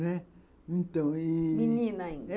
Né, então ih... Menina ainda?